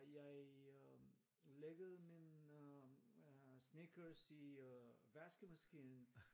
Jeg øh læggede min øh sneakers i øh vaskemaskinen